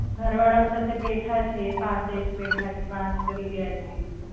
ઘર વાળાવ સાથે બેઠા છીએ પાસે જ બેઠા છીએ વાત કરી રહ્યા છીએ.